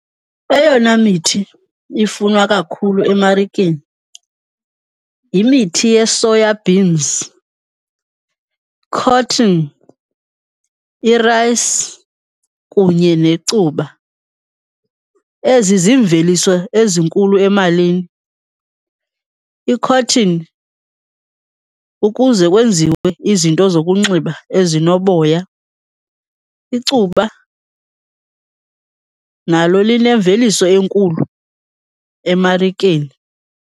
Eyona mithi ifunwa kakhulu emarikeni yimithi yee-soya beans, cotton, irayisi kunye necuba. Ezi ziimveliso ezinkulu emalini. I-cotton, ukuze kwenziwe izinto zokunxiba ezinoboya. Icuba nalo linemveliso enkulu emarikeni.